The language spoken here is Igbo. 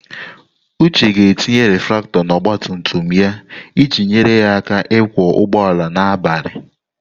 Uche ga-etinye reflektor na ọgba tum tum ya iji nyere ya aka ịkwọ ụgbọala n'abalị.